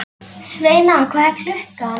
Sveina, hvað er klukkan?